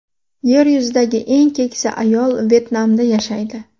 Yer yuzidagi eng keksa ayol Vyetnamda yashaydi.